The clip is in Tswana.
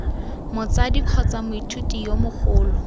motsadi kgotsa moithuti yo mogolo